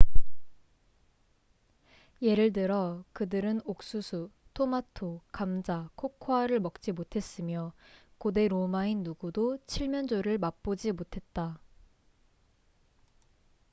예를 들어 그들은 옥수수 토마토 감자 코코아를 먹지 못했으며 고대 로마인 누구도 칠면조를 맛보지 못했다